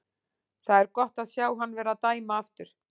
Það er gott að sjá hann vera að dæma aftur.